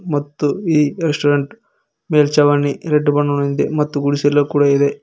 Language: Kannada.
ಮತ್ತು ಈ ರೆಸ್ಟೋರೆಂಟ್ ಮೇಲ್ಚಾವಣಿ ರೆಡ್ ಬಣ್ಣದಲ್ಲಿದೆ ಮತ್ತು ಗುಡಿಸಲು ಕೂಡ ಇದೆ.